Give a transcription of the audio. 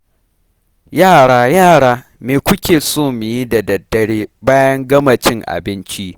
Yara! Yara!! me kuke so mu yi da daddare bayan gama cin abinci?